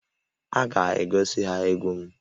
A ga-egosi ha na egwu m